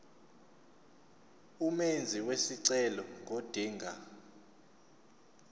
umenzi wesicelo ngodinga